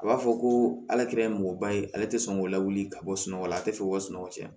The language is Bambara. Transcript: A b'a fɔ ko ala kɛ mɔgɔba ye ale tɛ sɔn k'o lawuli ka bɔ sunɔgɔ la a tɛ fɛ k'o ka sunɔgɔsi